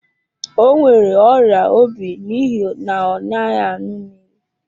O nwere ọrịa obi n'ihi na ọ naghị aṅụ mmiri.